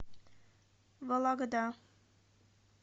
вологда